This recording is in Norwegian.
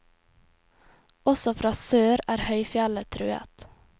Også fra sør er høyfjellet truet.